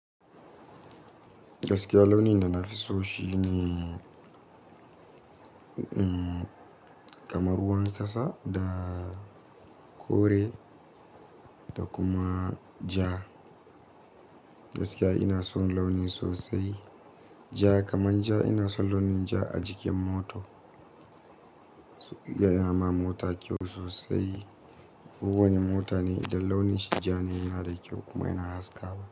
Gaskiya launi da na fi so shi ne kamar ruwan kasa da kore da kuma ja. Gaskiya ina son launi sosai ja, kamar ja ina son launin ja a jikin moto. Ya yi ma mota kyau sosai. Kowane mota ne idan launin shi ja ne yana da kyau kuma yana haskawa.